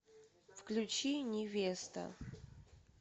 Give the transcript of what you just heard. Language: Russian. включи невеста